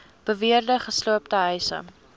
beweerde gesloopte huise